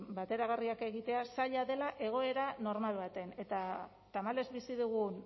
bateragarriak egitea zaila dela egoera normal batean eta tamalez bizi dugun